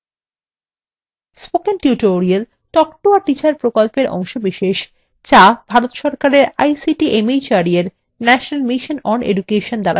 spoken tutorial talk to a teacher প্রকল্পের অংশবিশেষ যা ভারত সরকারের ict mhrd এর national mission on education দ্বারা সমর্থিত